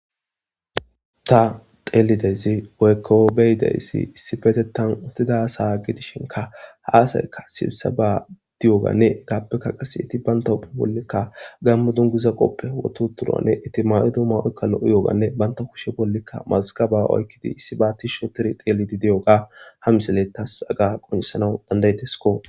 Ta xeellidayssi woykko be'idayssi issipetettan uttidayssa gidishinkka ha asayka sibiseban diyoganne entappekka qasse enti banta bollika gaammo dunguza qoofe wotti uttiduwanne eti mayi uttida mayoykka lo'iyoganne banta kushe bollikka mazigaba oykkidi issiba tishshi ottidi xeellidi diyoga ha misiley taas haga qonccisanaw danda'ideskko.